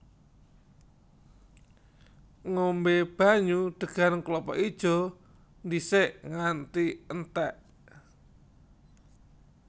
Ngombé banyu degan klapa ijo dhisik nganti entèk